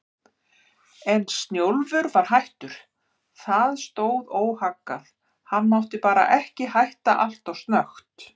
En Snjólfur var hættur, það stóð óhaggað, hann mátti bara ekki hætta alltof snöggt.